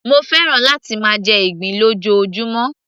mo fẹ́ràn láti máa jẹ ìgbín lójoojúmó